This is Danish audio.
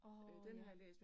Åh ja